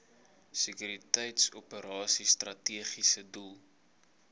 sekuriteitsoperasies strategiese doel